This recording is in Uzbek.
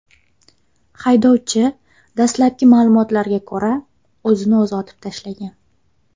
Haydovchi, dastlabki ma’lumotlarga ko‘ra, o‘zini o‘zi otib tashlagan.